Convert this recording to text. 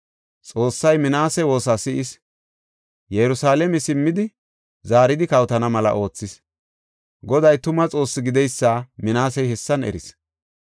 Xoossay Minaase woosa si7is; Yerusalaame simmidi zaaridi kawotana mela oothis. Goday tuma Xoossi gideysa Minaasey hessan eris.